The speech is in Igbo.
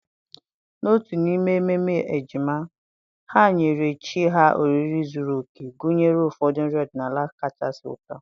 n'otu n'ime ememe ejima, ha nyere chi ha oriri zuru oke, gụnyere ụfọdụ nri ọdịnala kachasị ụtọ.